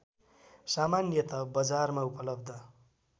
सामान्यतः बजारमा उपलब्ध